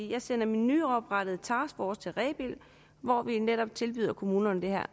jeg sender min nyoprettede taskforce til rebild hvor vi netop tilbyder kommunerne det her